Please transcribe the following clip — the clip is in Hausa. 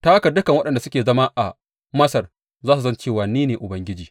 Ta haka dukan waɗanda suke zama a Masar za su san cewa ni ne Ubangiji.